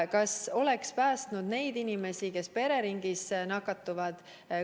Kas see oleks päästnud neid inimesi, kes pereringis nakatuvad?